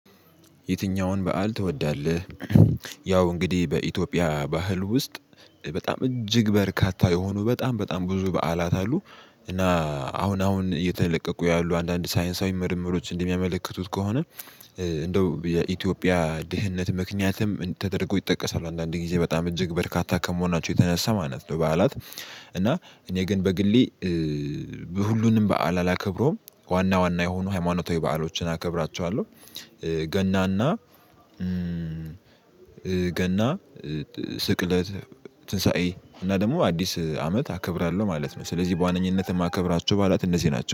የትኛውን በዓል ትወዳለህ? ያው እንግዲህ በኢትዮጵያ ባህል ውስጥ። በጣም እጅግ በርካታ የሆኑ በጣም በጣም ብዙ በዓላት አሉ። እና አሁን አሁን እየተለቀቁ ያሉ አንዳንድ ሳይንሳዊ ምርምሮች እንዲመለከቱት ከሆነ። እንደው የኢትዮጵያ ድህነት ምክንያትም ተደርጎ ይጠቀሳሉ አንዳንድ ጊዜ በጣም እጅግ በርካታ ከመሆናቸው የተነሳ ማለት ነው። በዓላት። እና እኔ ግን በግሌ። ሁሉንም በዓል አላከብረውም ዋና ዋና የሆኑ ሃይማኖታዊ በዓሎችን አከብራቸዋለሁ። ገናና ገና ስቅለት ትንሳኤ እና ደግሞ አዲስ አመት አከብራለሁ ማለት ነው። ስለዚህ በዋነኝነት የማከብራቸው በዓላት እነዚህ ናቸው